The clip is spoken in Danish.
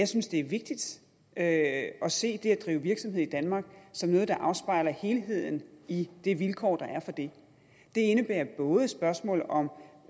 synes det er vigtigt at se det at drive virksomhed i danmark som noget der afspejler helheden i det vilkår der er for det det indebærer både spørgsmål om